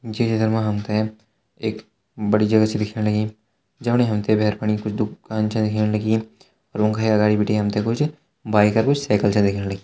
ये चित्र मा हमते एक बड़ी जगह च दिखेण लगीं जमणी हमते भैर फणी कुछ दूकान च दिखेण लगीं रूम का ही अगाड़ी बिटि हमते कुछ बाइक अर कुछ साइकिल च दिखेण लगीं।